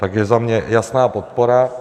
Takže za mě jasná podpora.